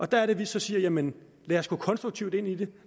der er det vi så siger jamen lad os gå konstruktivt ind i det